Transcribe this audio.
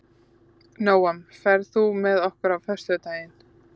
Nóam, ferð þú með okkur á föstudaginn?